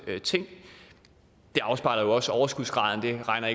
afspejler jo også overskudsgraden det regner